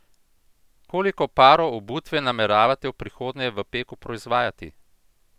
Koliko parov obutve nameravate v prihodnje v Peku proizvajati?